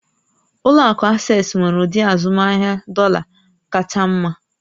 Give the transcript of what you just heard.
Ụlọ akụ Asés nwere ụdị azụmahịa dọ̀là r kacha mma